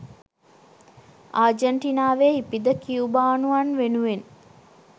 ආජන්ටිනාවේ ඉපිද කියුබානුවන් වෙනුවෙන්